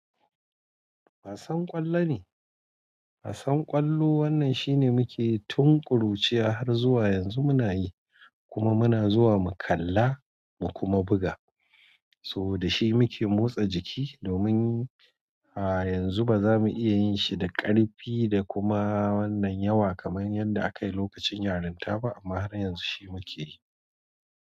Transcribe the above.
Wasan ƙwallo ne wasan ƙwallo wanan shine mukeyi tun ƙuruciya harzuwa yanzu munayi kuma muna zuwa mukalla mukuma buka. So da shi muke motsa jiki domin. A yanzu ba za mu iya yin shi da ƙarfi da kuma wannan yawa kamar yadda aka yi lokacin yarinta ba, amma har yanzu shi muke yi.